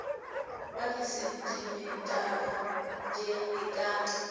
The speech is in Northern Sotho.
wa disentimetara tše e ka